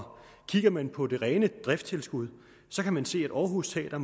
kigger man på det rene driftstilskud kan man se at aarhus teater